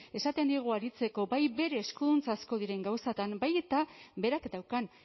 esaten diogu aritzeko bai bere eskuduntza asko diren gauzetan baita berak daukan